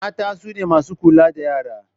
Mata sune masu kula da yara